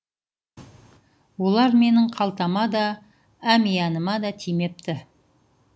олар менің қалтама да әмияныма да тимепті